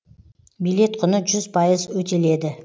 билет құны жүз пайыз өтеледі